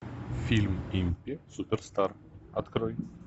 фильм импи суперстар открой